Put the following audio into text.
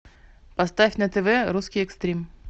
поставь на тв русский экстрим